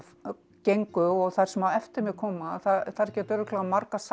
gengu og þær sem á eftir mér koma að þær geta örugglega margar sagt